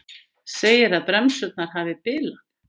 Segir að bremsurnar hafi bilað